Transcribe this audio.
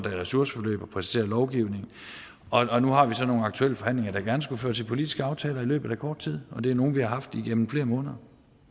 er i ressourceforløb og præcisere lovgivningen og nu har vi så nogle aktuelle forhandlinger der gerne skulle føre til politiske aftaler i løbet af kort tid og det er nogle vi har haft igennem flere måneder